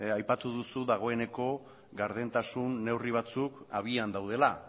aipatu duzu dagoeneko gardentasun neurri batzuk abian daudela